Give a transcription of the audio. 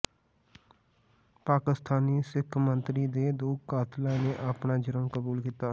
ਪਾਕਿਸਤਾਨੀ ਸਿੱਖ ਮੰਤਰੀ ਦੇ ਦੋ ਕਾਤਲਾਂ ਨੇ ਆਪਣਾ ਜੁਰਮ ਕਬੂਲ ਕੀਤਾ